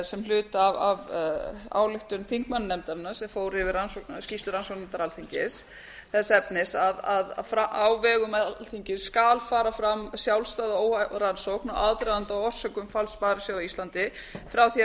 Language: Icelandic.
sem hluta af ályktun þingmannanefndarinnar sem fór yfir ksryslu rannsóknarnefndar alþingis þess efnis að vegum alþingis skal fara fram sjálfstæð og óháð rannsókn á aðdraganda og orsökum falls sparisjóða á íslandi bera væri að